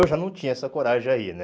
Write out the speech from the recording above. Eu já não tinha essa coragem aí, né?